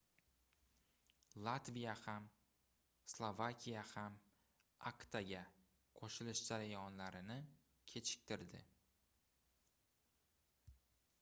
latviya ham slovakiya ham actaga qoʻshilish jarayonlarini kechiktirdi